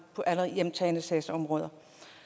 på alle hjemtagne sagsområder